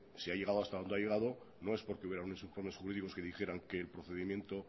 si ha llegado hasta donde ha llegado no es porque hubiera unos informes jurídicos que dijeran que el procedimiento